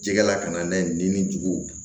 Jɛgɛla ka na n'a ye nin cogo